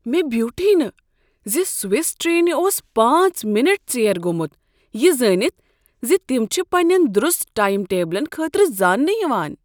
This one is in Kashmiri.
مےٚ بیوٹھٕے نہٕ ز سوس ٹرٛینہ اوس پانژھ منٹ ژیر گوٚمت یہ زٲنِتھ زِ تم چھ پنٛنین درست ٹایم ٹیبلن خٲطرٕ زاننہٕ یوان